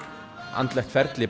andlegt ferli